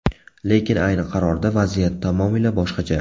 Lekin ayni qarorda vaziyat tamomila boshqacha.